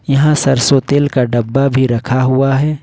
यहां सरसों तेल का डब्बा भी रखा हुआ है।